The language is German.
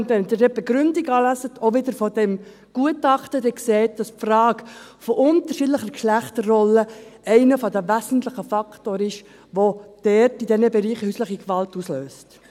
Wenn Sie dann auch die Begründung lesen, auch wieder aus diesem Gutachten, sehen Sie, dass die Frage von unterschiedlicher Geschlechterrolle einer der wesentlichen Faktoren ist, der dort, in diesen Bereichen, häusliche Gewalt auslöst.